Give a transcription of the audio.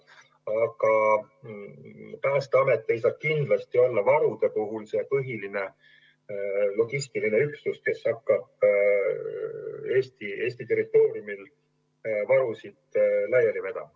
Aga Päästeamet ei saa kindlasti olla varude puhul see põhiline logistiline üksus, kes hakkab Eesti territooriumil varusid laiali vedama.